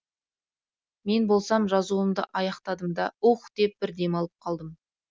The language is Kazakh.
мен болсам жазуымды аяқтадым да уһ деп бір демалып қалдым